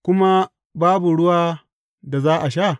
Kuma babu ruwan da za a sha?